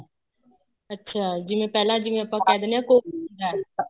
ਅੱਛਾ ਜਿਵੇਂ ਪਹਿਲਾਂ ਜਿਵੇਂ ਆਪਾਂ ਕਹਿ ਦਿੰਨੇ ਆ